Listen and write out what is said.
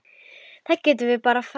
Við getum bara farið tvö.